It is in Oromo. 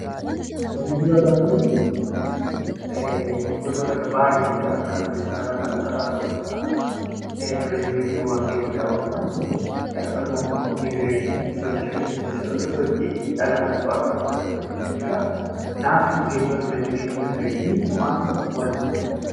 Geejjiba gaafa jennu gosoota baay'ee jira: kan qilleensarraa, kan lafarraa ta'uu danda'a. Turizimiin immoo bakkeewwan daawwataman akkasumas immoo immigireeshinii sosochii dhala namaa bakkaa bakkatti ta'udha jechuudha. Kanaaf geejjiba, turizimii fi Immigireeshinii maaltu walitti fida?